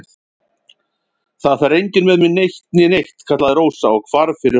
Það fer enginn með mig eitt né neitt, kallaði Rósa og hvarf fyrir hornið.